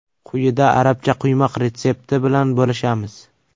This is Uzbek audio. Quyida arabcha quymoq retsepti bilan bo‘lishamiz.